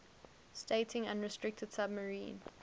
stating unrestricted submarine